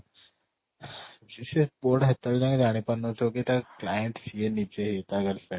ସେ ପୁଅ ଟା ସେତେ ବେଳ ଯାଏ ଜାଣି ପାରୁ ନ ଥିବ କି ତା client ନିଜେ ହିଁ ତା girlfriend